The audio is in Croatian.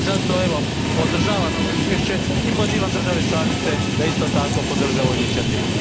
I zato podržavam ovo izvješće i pozivam države članice da isto tako podrže ovu inicijativu.